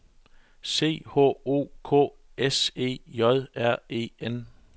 C H O K S E J R E N